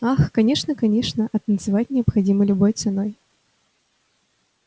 ах конечно конечно а танцевать необходимо любой ценой